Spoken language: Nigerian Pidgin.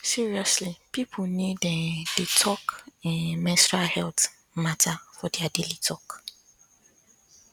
seriously people need um dey um talk menstrual health matter for their daily talk